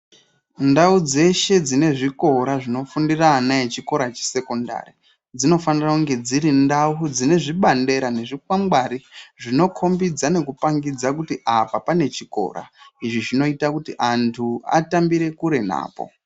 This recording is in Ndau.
Ndau dzeshe dzine zvikora zvinofundira ana echikora chesekondari dzinofanira kunge dziri ndau dzine zvibandera nezvikwangari zvinokombidza nekupangidza kuti apa pane chikora, izvi zvinoita kuti antu atambire kure napo.